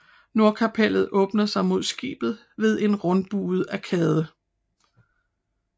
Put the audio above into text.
Nordkapellet åbner sig mod skibet ved en rundbuet arkade